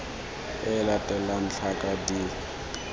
e e latelang tlhaka d